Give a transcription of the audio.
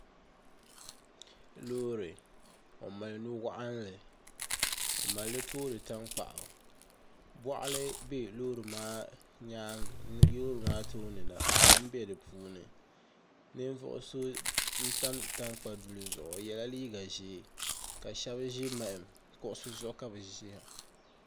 Loori o mali nu waɣanli o malli toori tankpaɣu boɣali bɛ loori maa tooni na kom bɛ di puuni ninvuɣu so n tam tankpa duli zuɣu o yɛla liiga ʒiɛ ka shab ʒi maham kuɣusi zuɣu ka bi ʒiya